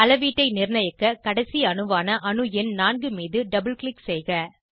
அளவீட்டை நிர்ணயிக்க கடைசி அணுவான அணு எண் 4 மீது டபுள் க்ளிக் செய்க